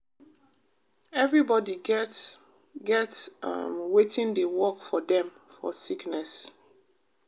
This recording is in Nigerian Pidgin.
everybody get get um wetin dey work for dem for sickness